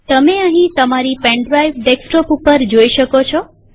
તમે અહીં તમારી પેન ડ્રાઈવ ડેસ્કટોપ પર જોઈ શકો છો